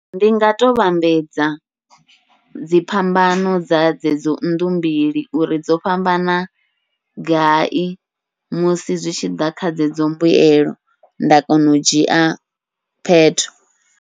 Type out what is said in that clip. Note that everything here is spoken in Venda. Ndi nga to vhambedza dzi phambano dza dzedzo nnḓu mbili, uri dzo fhambana gai musi zwi tshiḓa kha dzedzo mbuyelo nda kona u dzhia phetho.